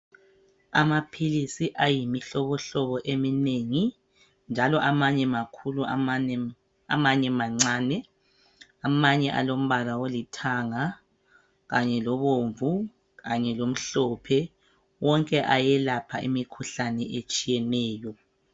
Amaphilisi ayimihlobo hlobo eminengi njalo amanye makhulu amanye mancane, amanye alombala olithanga kanye lobomvu kanye lomhlophe wonke ayelapha imikhuhlane etshiyeneyo.